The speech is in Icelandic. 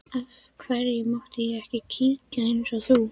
Af hverju mátti ég ekki kíkja eins og þú?